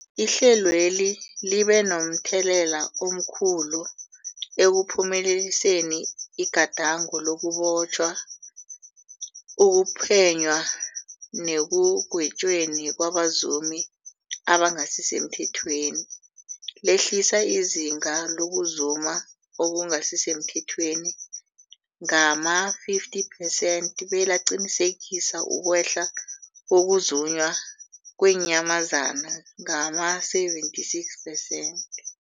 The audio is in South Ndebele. Ihlelweli libe momthelela omkhulu ekuphumeleliseni igadango lokubotjhwa, ukuphenywa nekugwetjweni kwabazumi abangasisemthethweni, lehlisa izinga lokuzuma okungasi semthethweni ngama-50 percent, belaqinisekisa ukwehla kokuzunywa kweenyamazana ngama-76 percent.